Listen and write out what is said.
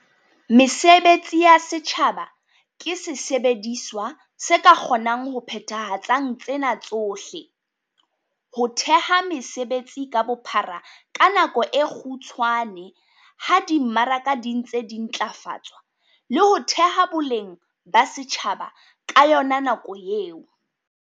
Mesebetsi ya setjhaba ke sesebediswa se ka kgonang ho phethahatsang tsena tsohle- ho theha mesebetsi ka bophara ka nako e kgutshwane ha di mmaraka di ntse di ntlafatswa, le ho theha boleng ba setjhaba ka yona nako eo.